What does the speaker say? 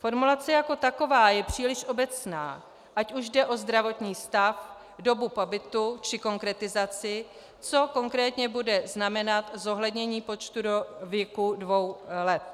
Formulace jako taková je příliš obecná, ať už jde o zdravotní stav, dobu pobytu či konkretizaci, co konkrétně bude znamenat zohlednění počtu do věku dvou let.